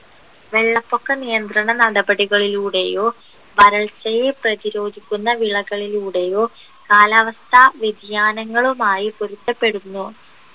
വെള്ളപ്പൊക്ക നിയന്ത്രണ നടപടികളിലൂടെയോ വരൾച്ചയെ പ്രതിരോധിക്കുന്ന വിളകളിലൂടെയോ കാലാവസ്ഥ വ്യതിയാനങ്ങളുമായി പൊരുത്തപ്പെടുന്നു